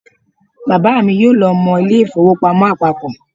Bàbá mi yóò lọ mọ ilé ìfowópamọ́ àpapọ̀